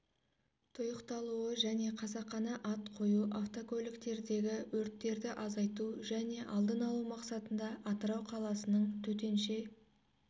тұйықталуы және қасақана ат қою автокөліктердегі өрттерді азайту және алдын алу мақсатында атырау қаласының төтенше